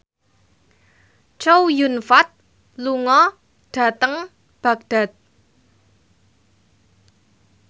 Chow Yun Fat lunga dhateng Baghdad